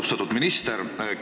Austatud minister!